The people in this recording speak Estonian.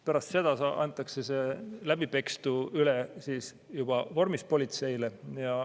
Pärast seda antakse läbipekstu üle juba vormis politseile.